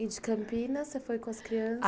E de Campinas, você foi com as crianças?